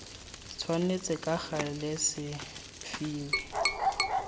tshwanetse ka gale se fiwe